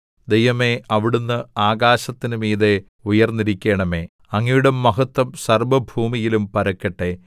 ദൈവമേ അവിടുന്ന് ആകാശത്തിന് മീതെ ഉയർന്നിരിക്കണമേ അങ്ങയുടെ മഹത്വം സർവ്വഭൂമിയിലും പരക്കട്ടെ